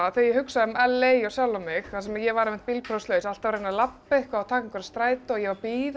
þegar ég hugsa um LA og sjálfa mig þar sem ég var bílprófslaus alltaf að reyna að labba eitthvað og taka strætóa ég var